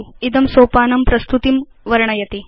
इदं सोपानं प्रस्तुतिं वर्णयति